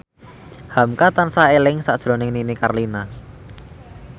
hamka tansah eling sakjroning Nini Carlina